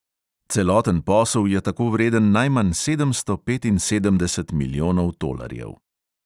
Celoten posel je tako vreden najmanj sedemsto petinsedemdeset milijonov tolarjev.